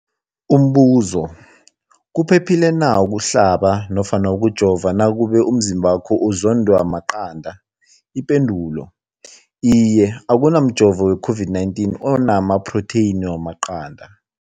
Umbuzo, kuphephile na ukuhlaba nofana ukujova nakube umzimbakho uzondwa maqanda. Ipendulo, Iye. Akuna mjovo we-COVID-19 ona maphrotheyini wamaqanda.